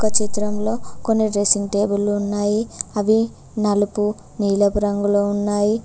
ఒక చిత్రంలో కొన్ని డ్రెస్సింగ్ టేబుల్లు ఉన్నాయి అవి నలుపు నీలపు రంగులో ఉన్నాయి.